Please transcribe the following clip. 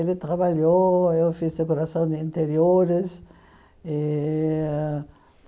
Ele trabalhou, eu fiz decoração de interiores. E